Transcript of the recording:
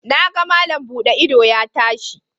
Na ga malam buɗe ido ya tashi